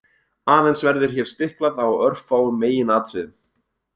Aðeins verður hér stiklað á örfáum meginatriðum.